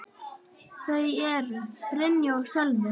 Þau eru: Brynja og Sölvi.